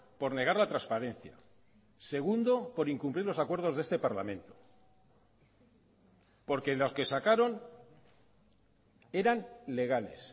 por negar la transparencia segundo por incumplir los acuerdos de este parlamento porque los que sacaron eran legales